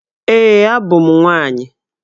Ee, abụ m nwaanyị.